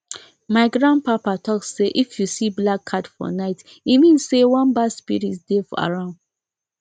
my grandpapa talk say if you see black cat for night e mean say one bad spirit dey around